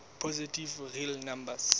positive real numbers